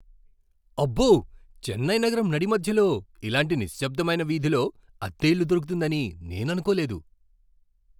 అబ్బో! చెన్నై నగరం నడిమధ్యలో ఇలాంటి నిశ్శబ్దమైన వీధిలో అద్దె ఇల్లు దొరుకుతుందని నేను అనుకోలేదు.